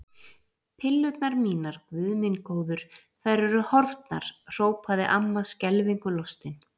Pillurnar mínar, Guð minn góður, þær eru horfnar! hrópaði amma skelfingu lostin.